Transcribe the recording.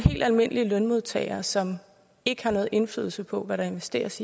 helt almindelige lønmodtagere som ikke har nogen indflydelse på hvad der investeres